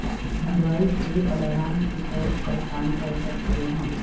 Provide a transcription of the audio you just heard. device ایک alarm کے طور پر کام کر سکتے ہیں